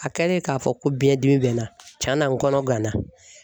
A kɛlen k'a fɔ ko biɲɛdimi bɛ n na tiɲɛna n kɔnɔ ganna